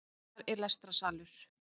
Þar er lestrarsalur